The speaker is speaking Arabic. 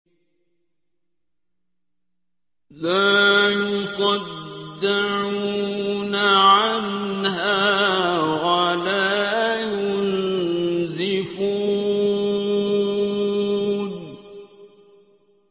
لَّا يُصَدَّعُونَ عَنْهَا وَلَا يُنزِفُونَ